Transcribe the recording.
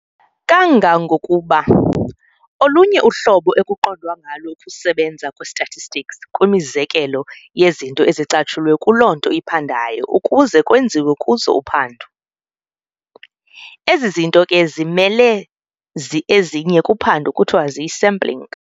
Kangangokuba, olunye uhlobo ekuqondwa ngalo ukusebenza kwe-statistics kwimizekelo yezinto ezicatshulwe kuloo nto iphandwayo ukuze kwenziwe kuzo uphando. Ezi zinto ke zimele ezinye kuphando kuthiwa ziyi-sampling.